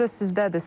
Söz sizdədir.